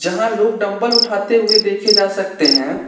जहां लोग डंबल उठाते हुए देखे जा सकते हैं।